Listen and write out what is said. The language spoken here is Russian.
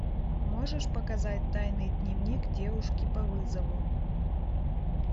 можешь показать тайный дневник девушки по вызову